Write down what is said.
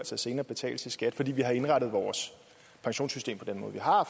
som senere betales i skat fordi vi har indrettet vores pensionssystem på den måde vi har